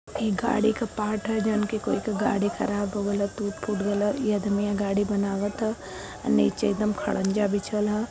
एक गाड़ी का पार्ट है। जउन की कोई का गाड़ी खराब हो गईल ह टूट-फूट गईल ह। ई अदमियां गाड़ी बनावत ह। नीचे एकदम खड़ंजा बिछल ह।